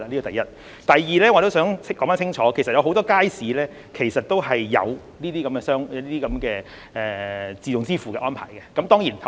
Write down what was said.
第二，我也想說清楚，其實很多街市也有這些電子支付的安排。